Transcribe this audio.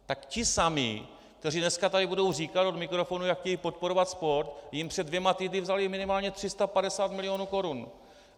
Tak ti samí, kteří dneska tady budou říkat od mikrofonu, jak chtějí podporovat sport, jim před dvěma týdny vzali minimálně 350 milionů korun.